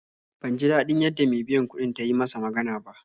Ban ji daɗin yadda me biyan kuɗin ta yi masa magana ba